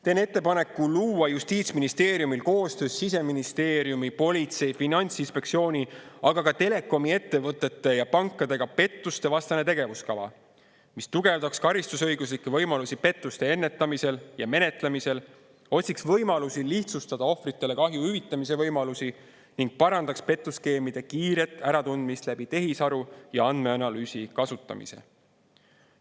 Teen ettepaneku luua justiitsministeeriumil koostöös Siseministeeriumi, politsei, Finantsinspektsiooni, aga ka telekomiettevõtete ja pankadega pettustevastane tegevuskava, mis tugevdaks karistusõiguslikke võimalusi pettuste ennetamisel ja menetlemisel, otsiks võimalusi lihtsustada ohvritele kahju hüvitamise võimalusi ning parandaks petuskeemide kiiret äratundmist tehisaru ja andmeanalüüsi kasutamise abil.